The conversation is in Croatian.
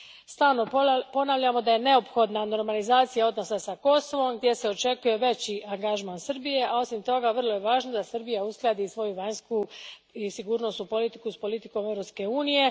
Stalno ponavljamo da je neophodna normalizacija odnosa s Kosovom, gdje se očekuje veći angažman Srbije, a osim toga vrlo je važno da Srbija uskladi svoju vanjsku i sigurnosnu politiku s politikom Europske unije.